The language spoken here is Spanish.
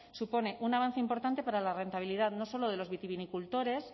supone un avance importante para la rentabilidad no solo de los vitivinicultores